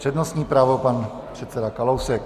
Přednostní právo, pan předseda Kalousek.